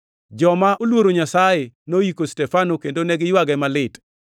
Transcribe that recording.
Joma oluoro Nyasaye noyiko Stefano kendo ne giywage malit.